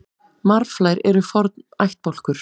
Marflær eru forn ættbálkur.